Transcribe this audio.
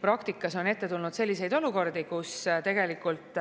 Praktikas on ette tulnud selliseid olukordi, kus tegelikult